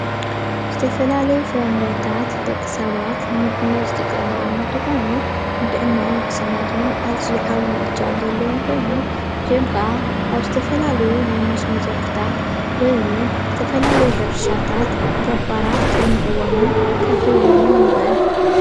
ዝተፈላለዩ ፍረምረታት ደቂ ሰባት ንምግብነት ዝጥቀምሎም እንትኮኑ ንጥዕንኦም ዉሕስነት እዉን ዓብዪ እጃም ዘለዎ ኮይኖም እዚኦም ከዓ ኣብ ዝየፈላለዩ ናይ መስኖ ዘርፍታት ወይ እዉን ዝተፈላለዩ ሕርሻታት ገባራት ከልምዕዎምን ከፍርይዎምን ይርአ።